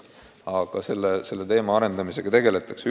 Aga süsteemi arendamisega tegeletakse.